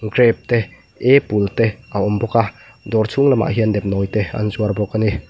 grape te apple te a awm bawk a dawr chhunglam ah hian nepnawi te an zuar bawk ani.